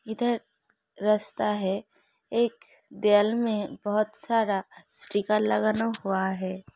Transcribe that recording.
इधर रस्ता है। एक में बहोत सारा स्टिकर लगाना हुआ है।